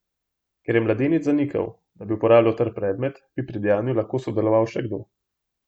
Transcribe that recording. Ker je mladenič zanikal, da bi uporabil trd predmet, bi pri dejanju lahko sodeloval še kdo.